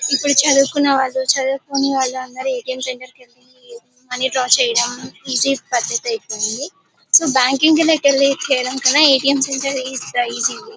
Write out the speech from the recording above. ఇప్పుడు చదువుకొనే వాళ్లు చదువుకొని వాళ్ళందరూ ఏ టి ఎం సెంటర్ కెళ్ళి మనీ డ్రా చెయ్యడం ఈజీ పద్దతి ఐయిపోయింది సో బ్యాంక్ దగ్గరికి వెళ్లి చెయ్యడం కన్న A T M centre is the easy way .